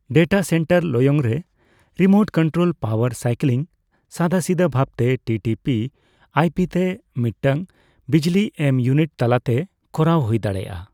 Data centre ᱞᱚᱭᱚᱝ ᱨᱮ, remote control power cycling ᱥᱟᱫᱟᱥᱤᱫᱟᱹ ᱵᱷᱟᱵᱛᱮ ᱴᱤᱴᱤᱯᱤ/ᱟᱭᱯᱤ ᱛᱮ ᱢᱤᱫᱛᱟᱝ ᱵᱤᱡᱞᱤ ᱮᱢ ᱤᱭᱩᱱᱤᱴ ᱛᱟᱞᱟᱛᱮ ᱠᱚᱨᱟᱣ ᱦᱩᱭ ᱫᱟᱲᱮᱭᱟᱜᱼᱟ ᱾